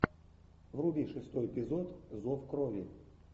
вруби шестой эпизод зов крови